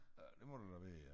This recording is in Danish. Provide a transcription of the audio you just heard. Ja det må det da være ja